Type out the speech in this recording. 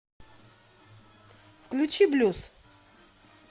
включи блюз